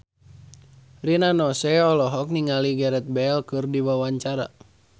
Rina Nose olohok ningali Gareth Bale keur diwawancara